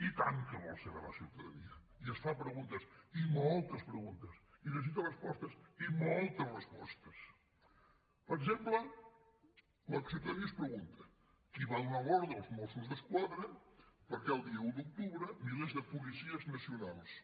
i tant que vol saber la ciutadania i es fa preguntes i moltes preguntes i necessita respostes i moltes respostes per exemple la ciutadania es pregunta qui va donar l’ordre als mossos d’esquadra perquè el dia un d’octubre milers de policies nacionals